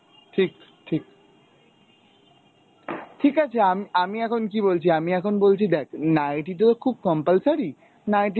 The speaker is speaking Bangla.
ঠিক ঠিক. ঠিক আছে আম~ আমি এখন কি বলছি, আমি এখন বলছি দেখ নাইটি তো খুব compulsory, নাইটি